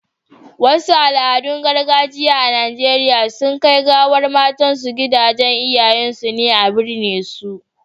Wasu Al, adun gargajiya a Nigeria suna Kai gawar matan su gidan iyayen su ne a birne su